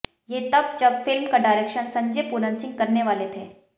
ये तब जब फिल्म का डायरेक्शन संजय पूरन सिंह करने वाले थे